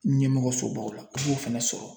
Ɲɛmɔgɔ sobaw la, a b'o fɛnɛ sɔrɔ